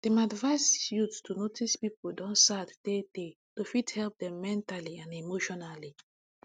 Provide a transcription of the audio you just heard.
dem advice youth to notice people don sad tey tey to fit help dem mentally and emotionally